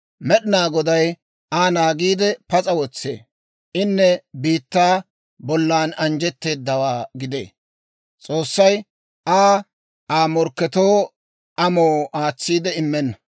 Med'inaa Goday Aa naagiide, pas'a wotsee. Inne biittaa bollan anjjetteedawaa gidee; S'oossay Aa Aa morkkatuwaa amoo aatsiide immenna.